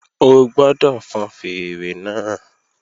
O gbọ́dọ̀ fọn fèèrè náà